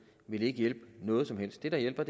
vil ikke hjælpe noget som helst det der hjælper